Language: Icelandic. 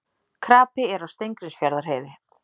Krapi er á Steingrímsfjarðarheiði